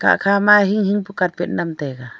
ekhama hing hing ka carpet nem taiga.